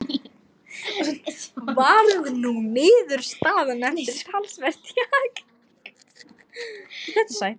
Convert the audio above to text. Varð sú niðurstaðan eftir talsvert þjark.